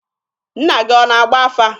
Nna gị ọ na-agba afa?